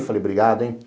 Eu falei, obrigado, hein?